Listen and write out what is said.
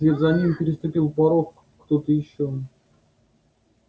вслед за ним переступил порог кто-то ещё